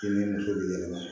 I ni muso b'i dɛmɛ